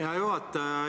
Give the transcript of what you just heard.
Hea juhataja!